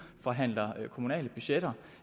forhandler kommunale budgetter